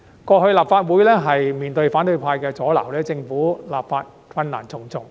過去立法會面對反對派的阻撓，令政府立法困難重重。